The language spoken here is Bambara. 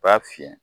B'a fiyɛ